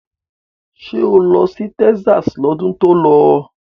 Ṣé o lọ sí Texas lọ́dún tó lọ?